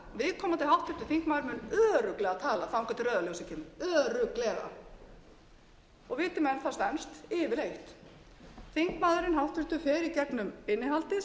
viðkomandi háttvirtur þingmaður mun örugglega tala þangað til rauða ljósið kemur örugglega og viti menn það stenst yfirleitt háttvirtur þingmaður fer í gegnum innihaldið